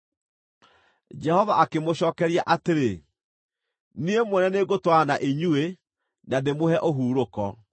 Jehova akĩmũcookeria atĩrĩ, “Niĩ Mwene nĩngũtwarana na inyuĩ na ndĩmũhe ũhurũko.”